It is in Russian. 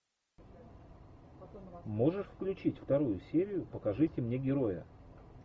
можешь включить вторую серию покажите мне героя